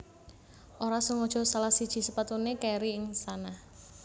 Ora sengaja salah siji sepatuné kèri ing istana